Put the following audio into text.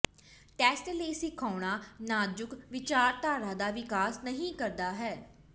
test ਲਈ ਸਿਖਾਉਣਾ ਨਾਜ਼ੁਕ ਵਿਚਾਰਧਾਰਾ ਦਾ ਵਿਕਾਸ ਨਹੀਂ ਕਰਦਾ ਹੈ